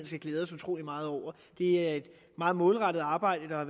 skal glæde os utrolig meget over det er et meget målrettet arbejde der er